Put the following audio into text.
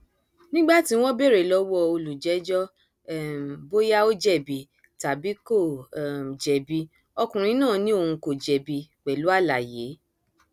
nígbà tí wọn béèrè lọwọ olùjẹjọ um bóyá ó jẹbi tàbí kó um jẹbi ọkùnrin náà ni òun kò jẹbi pẹlú àlàyé